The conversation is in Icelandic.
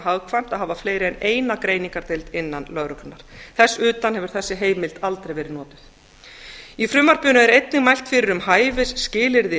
hagkvæmt að hafa fleiri en eina greiningardeild innan lögreglunnar þess utan hefur þessi heimild aldrei verið notuð í frumvarpinu er einnig mælt fyrir um hæfi skilyrði